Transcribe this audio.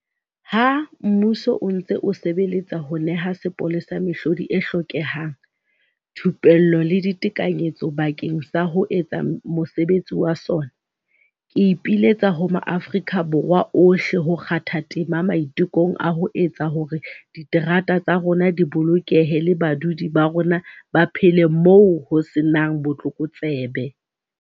Ha mmuso o ntse o sebeletsa ho neha sepolesa mehlodi e hlokehang, thupello le ditekanyetso bakeng sa ho etsa mosebetsi wa sona, Ke ipiletsa ho maAfrika Borwa ohle ho kgatha tema maitekong a ho etsa hore diterata tsa rona di bolokehe le badudi ba rona ba phele moo ho se nang botlokotsebe.